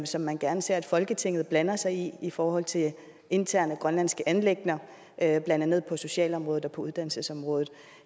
som man gerne ser at folketinget blander sig i i forhold til interne grønlandske anliggender blandt andet på socialområdet og på uddannelsesområdet